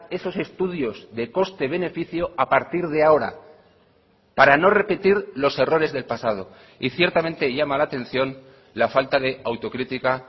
esos estudios de coste beneficio a partir de ahora para no repetir los errores del pasado y ciertamente llama la atención la falta de autocrítica